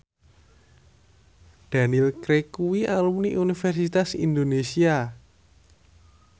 Daniel Craig kuwi alumni Universitas Indonesia